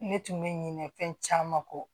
Ne tun bɛ ɲinɛ fɛn caman kɔ